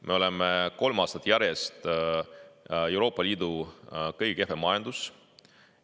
Me oleme kolm aastat järjest Euroopa Liidu kõige kehvem majandus.